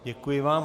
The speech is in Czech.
Děkuji vám.